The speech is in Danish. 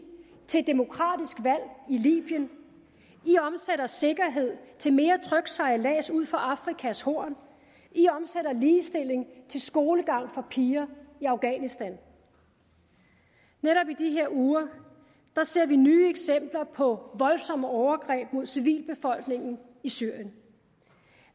til et demokratisk valg i libyen i omsætter sikkerhed til mere tryg sejlads ud for afrikas horn i omsætter ligestilling til skolegang for piger i afghanistan netop i de her uger ser vi nye eksempler på voldsomme overgreb mod civilbefolkningen i syrien